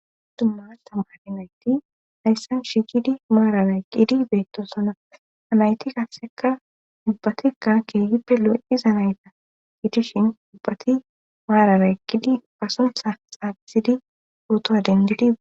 Dumma dumma nayti hayssan shigidi maararay qidi beetto sona anayti kasseka ubbatekka keegippe lo77iza nayta gidishin ubbati maararay qidi pasunsa xaabizidi ootowa dendidi.